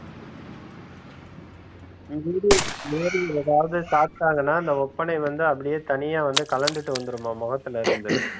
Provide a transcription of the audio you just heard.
மீறி மீறி எதாவது சாப்டாங்கனா அந்த ஒப்பனை வந்து அப்டியே தனியா வந்து கழண்டுட்டு வந்துடும்மா முகத்துல இருந்து